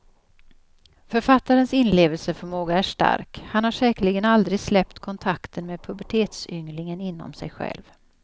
Författarens inlevelseförmåga är stark, han har säkerligen aldrig släppt kontakten med pubertetsynglingen inom sig själv.